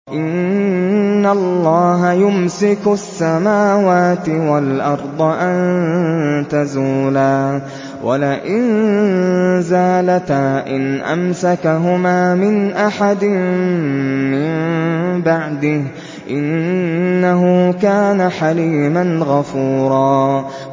۞ إِنَّ اللَّهَ يُمْسِكُ السَّمَاوَاتِ وَالْأَرْضَ أَن تَزُولَا ۚ وَلَئِن زَالَتَا إِنْ أَمْسَكَهُمَا مِنْ أَحَدٍ مِّن بَعْدِهِ ۚ إِنَّهُ كَانَ حَلِيمًا غَفُورًا